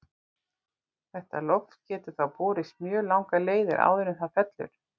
Þetta loft getur þá borist mjög langar leiðir áður en það fellur út.